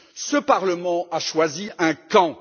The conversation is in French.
Ce parlement a choisi un camp.